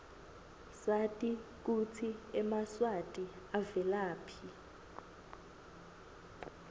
sati kutsi emaswati avelaphi